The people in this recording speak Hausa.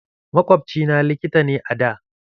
Makwabci na likita ne a da.